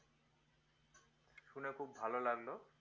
শুনে খুব ভালো লাগলো